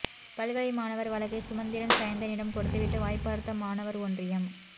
பல்கலை மாணவர் வழக்கை சுமந்திரன் சயந்தனிடம் கொடுத்துவிட்டு வாய்பார்த்த மாணவர் ஒன்றியம்